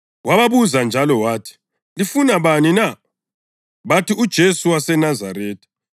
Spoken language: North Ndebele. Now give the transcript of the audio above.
Wababuza njalo wathi, “Lifuna bani na?” Bathi, “UJesu waseNazaretha.”